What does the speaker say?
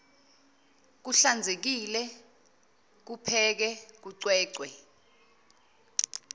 kuhlanzekile kupheke kucwecwe